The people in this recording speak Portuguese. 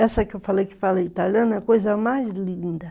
Essa que eu falei que fala italiano é a coisa mais linda.